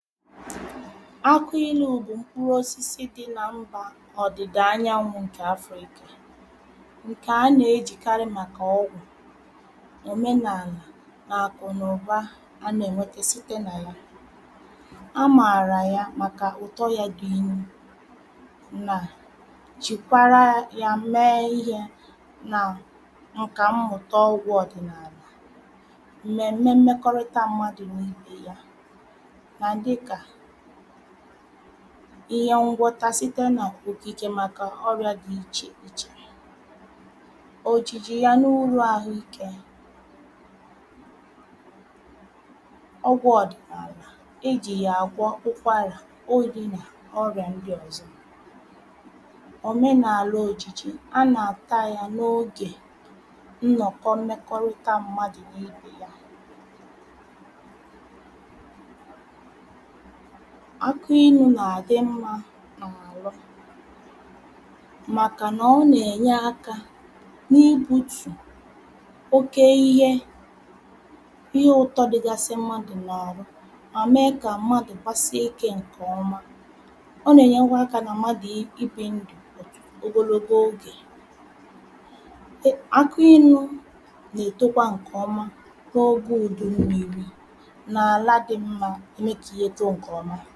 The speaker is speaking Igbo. akụ inu̇ bụ mkpụrụosisi dị n’mbȧ ọ̀dị̀dà anyanwụ̇ ǹkè afrikà ǹkè anà-ejìkarị màkà ọgwụ̀, omenàlà nà àkụ̀nàụ̀ba anà-ènwete site nà ya. amààrà ya màkà ụ̀tọ ya dị inu nà jìkwara ya mee ihė nà ǹka mmụ̀ta ọgwụ̇ ọ̀dị̀nààlà, mmemme mmekọrịta mmadụ na ibe ya nà dịka ihe ngwọta site n’ògìgè màkà ọrịȧ dị ichè ichèrè. òjìjì ya n’urù àhụ ikė ọgwụ̇ ọ̀dị̀nààlà ijì yà àgwọ ụkwarà, oyi̇ nà ọrịà ndị ọ̀zọ. òmenààlà òjìjì a nà-àta ya n’ogè nnọ̀kọ mmekọrịta mmadù n’ibe ya. aki inu̇ nà-àdị mmȧ n’àla màkà nà ọ nà-ènye aka n’ibutù oke ihe ihe ụ̀tọ dịgasị mmadụ̀ n’àrụ mà mee kà mmadụ̀ gbasie ikė ǹkè oma ọ nà-ènyekwa akȧ nà mmadụ̀ ibi̇ ndụ̀ ogologo ogè akụ inu̇ nà-ètokwa ǹkèọma n’oge ùdụ̀ umèrì nà àla dị mmȧ ka ọ na eto nke ọma